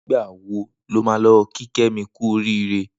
Nigbà wó ló mà lọ ki Kemi kù óriré?